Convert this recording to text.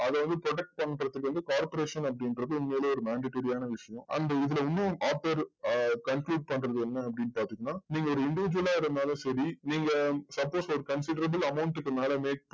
அதாவது protect பண்றதுக்கு வந்து corporation அப்படின்றது உண்மையிலயே ஒரு mandatory ஆன விஷயம். அந்த இதுல இன்னும் author ஆஹ் conclude பண்றது என்ன அப்படின்னு பாத்தீங்கன்னா நீங்க ஒரு individual ஆ இருந்தாலும் சரி நீங்க suppose ஒரு considerable amount க்கு மேல make